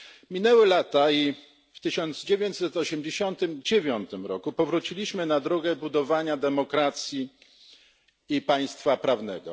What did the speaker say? Minęły lata i w 1989 roku powróciliśmy na drogę budowania demokracji i państwa prawnego.